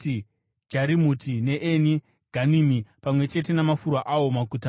Jarimuti neEni Ganimi, pamwe chete namafuro awo, maguta mana;